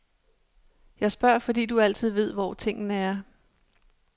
Jeg spørger, fordi du altid ved, hvor tingene er.